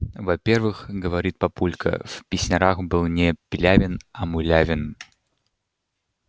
во-первых говорит папулька в песнярах был не пилявин а мулявин